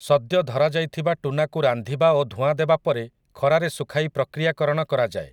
ସଦ୍ୟ ଧରାଯାଇଥିବା ଟୁନାକୁ ରାନ୍ଧିବା ଓ ଧୂଆଁଦେବା ପରେ ଖରାରେ ଶୁଖାଇ ପ୍ରକ୍ରିୟାକରଣ କରାଯାଏ ।